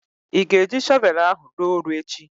Ị ga-eji shọvelu ahụ ruo oru echi?